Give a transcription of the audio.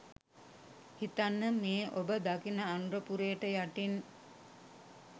හිතන්න මේ ඔබ දකින අනුරපුරයට යටින්